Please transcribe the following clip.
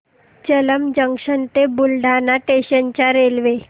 Jalamb junction ते Buldhana station च्या railway